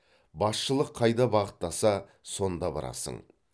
басшылық қайда бағыттаса сонда барасың